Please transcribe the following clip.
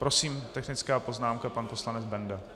Prosím, technická poznámka pan poslanec Benda.